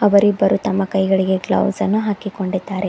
ಅವರಿಬ್ಬರೂ ತಮ್ಮ ಕೈಗಳಿಗೆ ಗ್ಲೌಸ್ ಅನ್ನು ಹಾಕಿಕೊಂಡಿದ್ದಾರೆ.